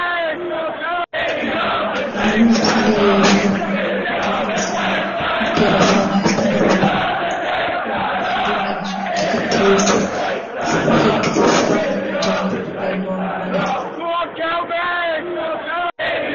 ሀይማኖቶች ለምሳሌ የእስልምና ሃይማኖት አለ የራስ የሆነ አስተምሮት ያለው እንዲሁም ደግሞ ቁርአን ህግ ስርአትና ደንብ ያለው ማለት ነው።